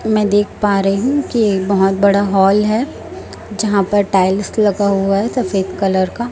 मैं देख पा रही हूं कि एक बहुत बड़ा हॉल है यहां पर टाइल्स लगा हुआ है सफेद कलर का।